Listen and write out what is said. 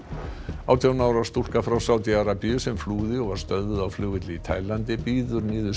átján ára stúlka frá Sádi Arabíu sem flúði og var stöðvuð á flugvelli í Taílandi bíður niðurstöðu